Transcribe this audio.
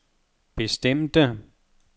bestemte